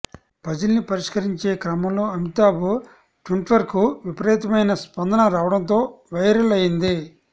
పజిల్ని పరిష్కరించే క్రమంలో అమితాబ్ ట్వీట్కు విపరీతమైన స్పందన రావడంతో వైరల్ అయింది